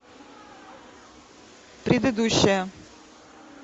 предыдущая